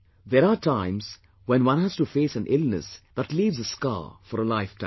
There are times when one has to face an illness that leaves a scar for a lifetime